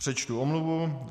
Přečtu omluvu.